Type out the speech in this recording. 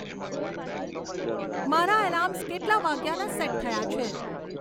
મારા એલાર્મ્સ કેટલાં વાગ્યાના સેટ થયાં છે